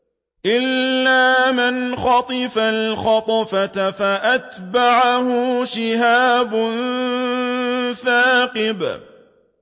إِلَّا مَنْ خَطِفَ الْخَطْفَةَ فَأَتْبَعَهُ شِهَابٌ ثَاقِبٌ